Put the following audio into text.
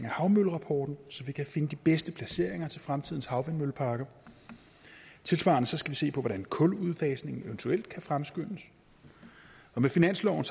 af havmøllerapporten så vi kan finde de bedste placeringer til fremtidens havvindmølleparker tilsvarende skal vi se på hvordan kuludfasningen eventuelt kan fremskyndes og med finansloven